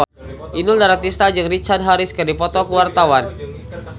Inul Daratista jeung Richard Harris keur dipoto ku wartawan